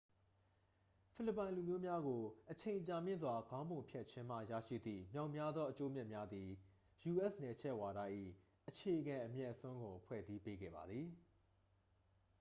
ဖိလစ်ပိုင်လူမျိုးများကို အချိန်ကြာမြင့်စွာ ခေါင်းပုံဖြတ်ခြင်းမှ ရရှိသည့်မြောက်များသော အကျိုးအမြတ်များသည် u.s. နယ်ချဲ့ဝါဒ၏ အခြေခံအမြတ်အစွန်းကို ဖွဲ့စည်းပေးခဲ့ပါသည်